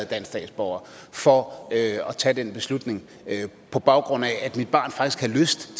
dansk statsborger for at tage den beslutning på baggrund af at mit barn faktisk